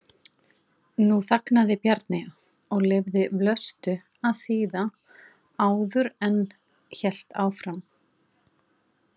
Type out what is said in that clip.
Nú þagnaði Bjarni og leyfði Vlöstu að þýða áður en hélt áfram.